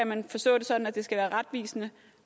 man forstå det sådan at det skal være retvisende